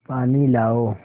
पानी लाओ